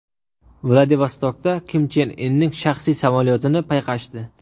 Vladivostokda Kim Chen Inning shaxsiy samolyotini payqashdi.